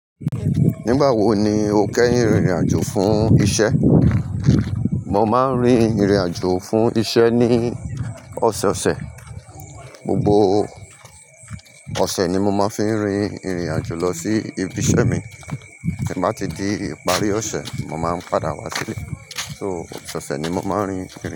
Nígbà wo ni o kẹ́yin rìnrìn àjò fún iṣẹ́? Mo máa ń rin ìrìn àjò fún iṣẹ́ ní ọ̀sẹ̀ ọ̀sẹ̀. Gbogbo ọ̀sẹ̀ ni mo máa fi ń rin ìrìn àjò lọ sí ibi iṣẹ́ mi. Tí n bá ti di ìparí ọ̀sẹ̀ mo máa ń padà wá sílé. So, ọ̀sẹ̀ ọ̀sẹ̀ ni mo máa ń rin.